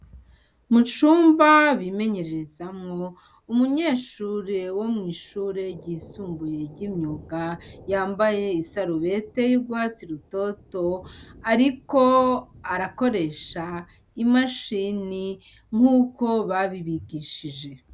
Mu cumba bimenyererezamwo, umunyeshure wo mw'ishure ryisumbuye ry'imyuga, yambaye isarubete y'urwatsi rutoto, ariko arakoresha imashini nk'uko babibigishije.